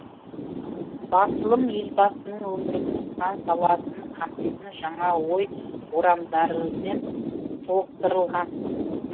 басылым елбасының өмірдің сан саласын қамтитын жаңа ой орамдарымен толықтырылған